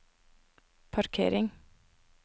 parkering